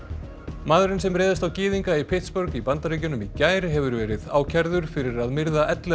maðurinn sem réðst á gyðinga í í Bandaríkjunum í gær hefur verið ákærður fyrir að myrða ellefu